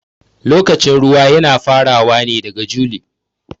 Lokacin ruwa Yana farawa ne daga juli.